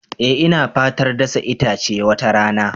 Eh ina fatar dasa itace wata rana.